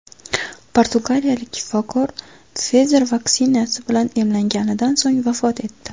Portugaliyalik shifokor Pfizer vaksinasi bilan emlanganidan so‘ng vafot etdi.